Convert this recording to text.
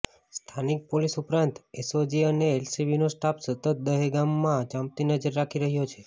સ્થાનિક પોલીસ ઉપરાંત એસઓજી અને એલસબીનો સ્ટાફ સતત દહેગામમાં ચાંપતી નજર રાખી રહ્યો છે